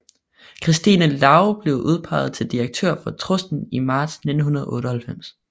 Christine Large blev udpeget til direktør for trusten i marts 1998